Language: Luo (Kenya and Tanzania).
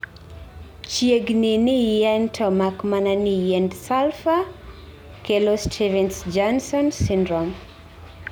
Chiegni ni yien to mak mana ni yiend sulphur kelo Stevens Jonson syndrome